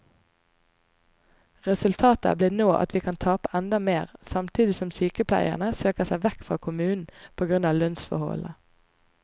Resultatet blir nå at vi kan tape enda mer, samtidig som sykepleierne søker seg vekk fra kommunen på grunn av lønnsforholdene.